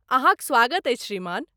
अहाँक स्वागत अछि श्रीमान।